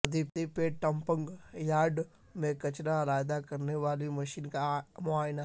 سدی پیٹ dumping yard میں کچرہ علحدہ کرنے والی مشین کا معائنہ